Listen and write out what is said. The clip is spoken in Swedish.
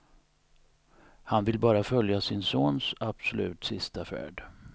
Han vill bara följa sin sons absolut sista färd.